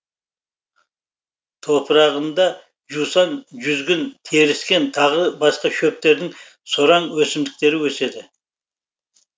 топырағында жусан жүзгін теріскен тағы басқа шөптердің сораң өсімдіктері өседі